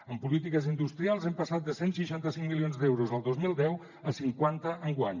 en polítiques industrials hem passat de cent i seixanta cinc milions d’euros el dos mil deu a cinquanta enguany